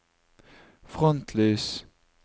frontlys